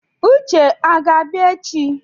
Uche o ga-abịa echi?